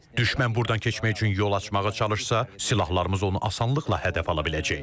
Düşmən burdan keçmək üçün yol açmağa çalışsa, silahlarımız onu asanlıqla hədəf ala biləcək.